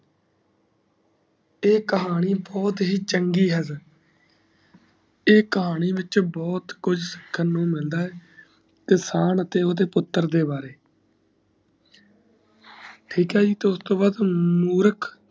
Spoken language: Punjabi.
ਈ ਕਹਾਣੀ ਬਹੁਤ ਹੀ ਚੰਗੀ ਹੈ ਈ ਕਹਾਣੀ ਵਿਚ ਬਹੁਤ ਕੁਜ ਸਿੱਖਣ ਨੂੰ ਮਿਲਦਾ ਏ ਕਿਸਾਨ ਅਤੇ ਓਦੇ ਪੁੱਤਰ ਦੇ ਵਾਰੇ ਠੀਕ ਏ ਜੀ ਉਸਤੋਂ ਵਾਦ ਮੂਰਖ